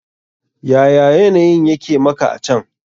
Yaya yanayin yake maka a can?